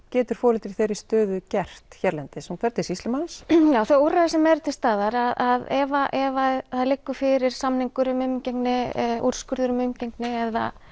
getur foreldri í þeirri stöðu gert hérlendis fer til sýslumanns já þau úrræði sem eru til staðar að ef það liggur fyrir samningur um umgengni úrskurður um umgengni eða